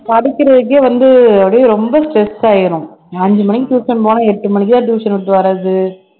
படிக்கிறதுக்கே வந்து அப்படியே ரொம்ப stress ஆயிரும் அஞ்சு மணிக்கு tuition போனா எட்டு மணிக்கெல்லாம் tuition விட்டு வர்றது